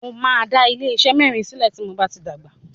Mo máa dá ilé iṣé mẹ́rin sílẹ̀ tí mo bá ti dàgbà.